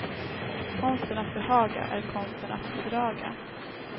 Konsten att behaga är konsten att bedraga.